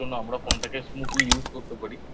যেটার জন্য আমরা Phone টাকে Smoothly Use করতে পারি